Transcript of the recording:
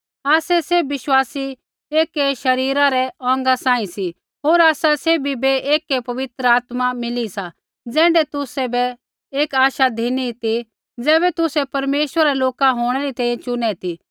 आसै सैभ विश्वासी एकै शरीरा रै औंगा सांही सी होर आसा सैभी बै एकै पवित्र आत्मा मिली सा ज़ैण्ढै तुसै बै एक आश धिनी ती ज़ैबै तुसै परमेश्वरा रै लोका होंणै री तैंईंयैं चुनै ती